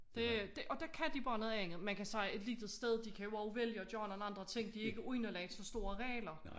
Det det og der kan de bare noget andet man kan sige et lille sted de kan jo også vælge at gøre nogle andre ting de ikke underlagt så store regler